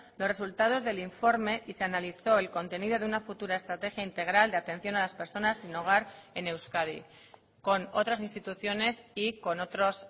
los resultados del informe y se analizó el contenido de una futura estrategia integral de atención a las personas sin hogar en euskadi con otras instituciones y con otros